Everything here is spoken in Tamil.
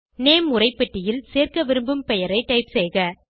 நேம் உரைப்பெட்டியில் சேர்க்க விரும்பும் பெயரை டைப் செய்க